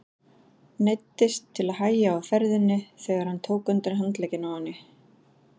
Neyddist til að hægja á ferðinni þegar hann tók undir handlegginn á henni.